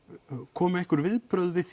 komu einhver viðbrögð við